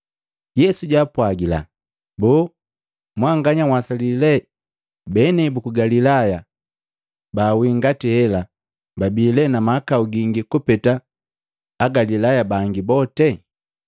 Yesu jaapwagila, “Boo mwanganya nhwasali lee benei buku Galilaya babawii ngati hela babi lee na mahakau gingi kupeta Agalilaya bangi bote?